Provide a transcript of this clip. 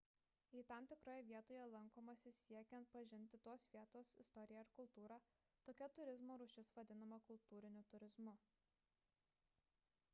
jei tam tikroje vietoje lankomasi siekiant pažinti tos vietos istoriją ir kultūrą tokia turizmo rūšis vadinama kultūriniu turizmu